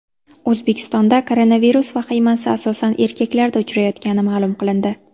O‘zbekistonda koronavirus vahimasi asosan erkaklarda uchrayotgani ma’lum qilindi.